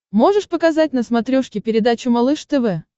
можешь показать на смотрешке передачу малыш тв